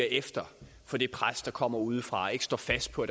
efter for det pres der kommer udefra og ikke står fast på